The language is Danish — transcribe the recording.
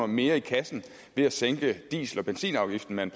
mere i kassen ved at sænke diesel og benzinafgiften med en